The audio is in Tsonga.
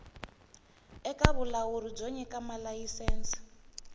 eka vulawuri byo nyika malayisense